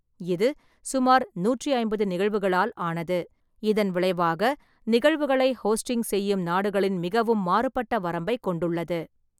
இது சுமார் நூற்றி ஐம்பது நிகழ்வுகளால் ஆனது, இதன் விளைவாக, நிகழ்வுகளை ஹோஸ்டிங் செய்யும் நாடுகளின் மிகவும் மாறுபட்ட வரம்பைக் கொண்டுள்ளது.